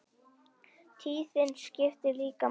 Tíðnin skiptir líka máli.